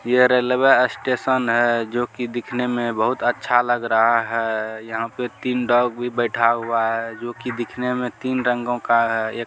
ये railway station है जो कि दिखने में बहुत अच्छा लग रहा है यहाँ पे तीन डॉग भी बैठा हुआ है जो कि दिखने में तीन रंगो का है ए --